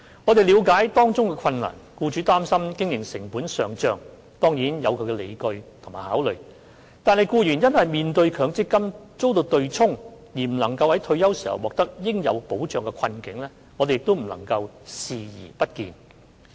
我們了解到當中的困難之處：僱主擔心經營成本上漲，當然有其理據及考慮；但僱員面對因強積金遭對沖而未能在退休時獲得應有保障，我們亦不能對他們的困境視而不見。